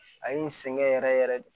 A ye n sɛgɛn yɛrɛ yɛrɛ de